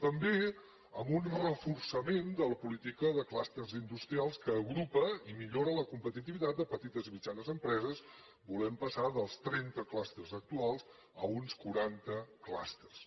també amb un reforçament de la política de clústers industrials que agrupa i millora la competitivitat de petites i mitjanes empreses volem passar dels trenta clústers actuals a uns quaranta clústers